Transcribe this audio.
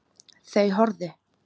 Þau horfðu.